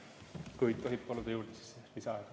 Kui tohib, palun lisaaega.